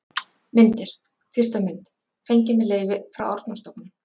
Myndir: Fyrsta mynd: Fengin með leyfi frá Árnastofnun.